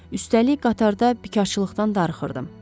Üstəlik qatarda biçaqlıqdan darıxırdım.